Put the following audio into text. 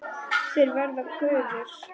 Þeir verða gufur.